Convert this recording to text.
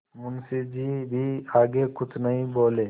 मुंशी जी भी आगे कुछ नहीं बोले